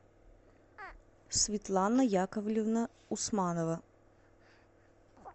светлана яковлевна усманова